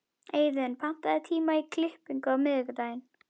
Eiðunn, pantaðu tíma í klippingu á miðvikudaginn.